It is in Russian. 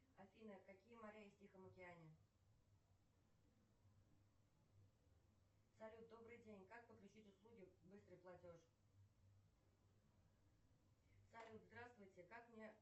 афина какие моря есть в тихом океане салют добрый день как подключить услуги быстрый платеж салют здравствуйте как мне